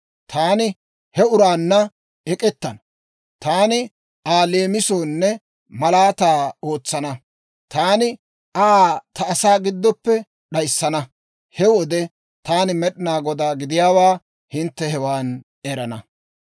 Taani he uraanna ek'ettana; taani Aa leemisonne malaataa ootsana; taani Aa ta asaa giddoppe d'ayissana. He wode taani Med'inaa Godaa gidiyaawaa hintte hewan erana.